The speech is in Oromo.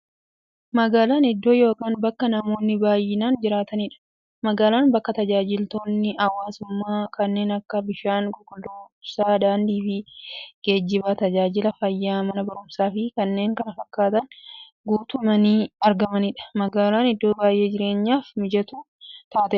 Magaalaan iddoo yookiin bakka namoonni baay'inaan jiraataniidha. Magaalaan bakka taajajilootni hawwaasummaa kanneen akka; bishaan qulqulluu, ibsaa, daandiifi geejjiba, taajajila fayyaa, Mana barumsaafi kanneen kana fakkatan guutamanii argamaniidha. Magaalaan iddoo baay'ee jireenyaf mijattuu taateedha.